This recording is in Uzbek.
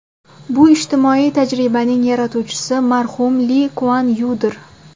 Bu ijtimoiy tajribaning yaratuvchisi marhum Li Kuan Yudir.